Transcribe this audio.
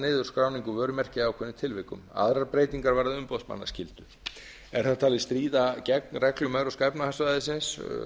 niður skráningu vörumerkja í ákveðnum tilvikum aðrar breytingar varða umboðsmannaskyldu er þetta talið stríða gegn reglum evrópska efnahagssvæðisins